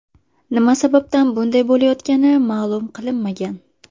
Nima sababdan bunday bo‘layotgani ma’lum qilinmagan.